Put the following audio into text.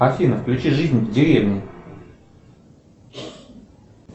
афина включи жизнь в деревне